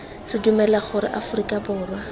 re dumela gore aforika borwa